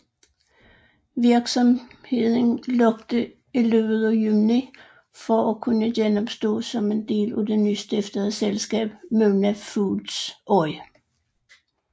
Virksomheden lukkede i løbet af juni for at kunne genopstå som en del af det nystiftede selskab Muna Foods Oy